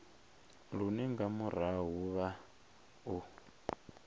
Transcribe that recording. lune nga murahu vha o